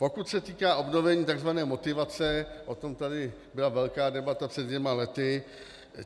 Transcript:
Pokud se týká obnovení tzv. motivace, o tom tady byla velká debata před dvěma lety.